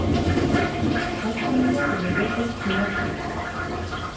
Hættan á getuleysi eykst með aldri.